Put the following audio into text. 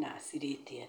na cirĩte.